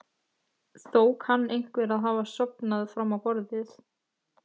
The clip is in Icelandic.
Þó kann einhver að hafa sofnað fram á borðið.